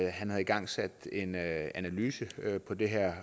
han havde igangsat en analyse på det her